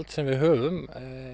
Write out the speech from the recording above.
sem við höfum